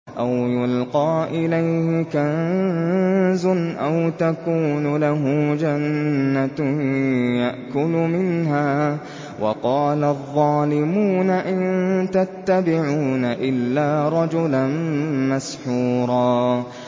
أَوْ يُلْقَىٰ إِلَيْهِ كَنزٌ أَوْ تَكُونُ لَهُ جَنَّةٌ يَأْكُلُ مِنْهَا ۚ وَقَالَ الظَّالِمُونَ إِن تَتَّبِعُونَ إِلَّا رَجُلًا مَّسْحُورًا